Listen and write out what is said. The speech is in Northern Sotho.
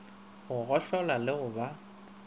go gohlola le go ba